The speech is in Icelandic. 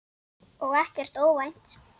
Og ekkert óvænt.